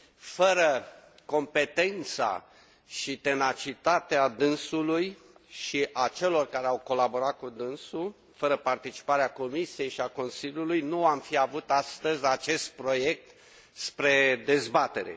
Fără competența și tenacitatea dânsului și a celor care au colaborat cu dânsul, fără participarea Comisiei și a Consiliului, nu am fi avut astăzi acest proiect spre dezbatere.